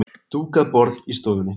Dúkað borð í stofunni.